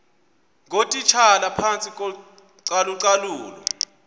ngootitshala phantsi kocalucalulo